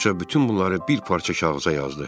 Qoca bütün bunları bir parça kağıza yazdı.